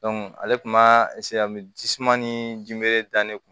ale tun ma jisuman ni ji mele dan ne